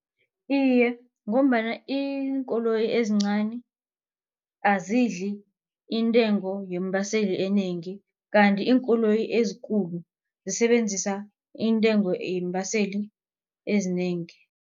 Iye, ngombana iinkoloyi ezincani azidli intengo yeembaseli enengi. Kanti iinkoloyi ezikulu zisebenzisa intengo yeembaseli ezinengi.